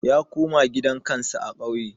Ya koma gidan kansa a kauye